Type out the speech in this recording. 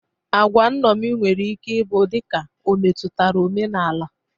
Agwa nṅomi nwere ike ị bụ dịka o metutara omenala.